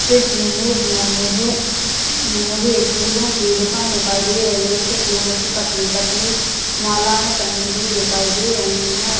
इस इमेज में मुझे मुझे फूलों की दुकान दिखाई दे रही है उसे पर फूलों की पतली पतली मालाए टंगी हुई दिखाई दे रहे है।